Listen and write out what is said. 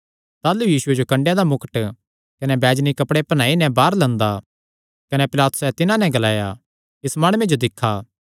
ताह़लू यीशुये जो कन्डेयां दा मुकट कने बैजनी कपड़े पैहनाई नैं बाहर लंदा कने पिलातुसैं तिन्हां नैं ग्लाया इस माणुये जो दिक्खा